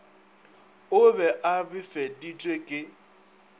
o be a befeditšwe ke